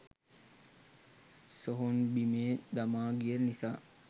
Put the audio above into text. සොහොන් බිමේ දමා ගිය නිසා